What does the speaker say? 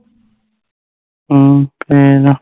ਅਮ fail ਆ